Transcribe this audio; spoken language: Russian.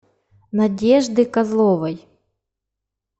надежды козловой